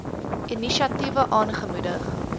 inisiatiewe aangemoedig